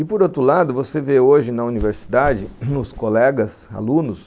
E por outro lado, você vê hoje na universidade, nos colegas, alunos,